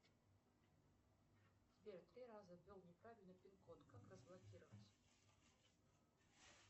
сбер три раза ввел неправильный пин код как разблокировать